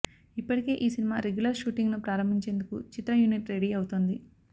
ఇప్పటికే ఈ cinema regular షూటింగ్ను ప్రారంభించేందుకు చిత్ర యూనిట్ రెడీ అవుతోంది